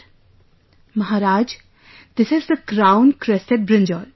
"Maharaj, this is the crowncrested brinjal